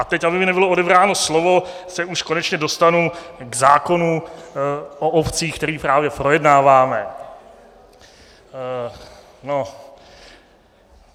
A teď aby mi nebylo odebráno slovo, se už konečně dostanu k zákonu o obcích, který právě projednáváme.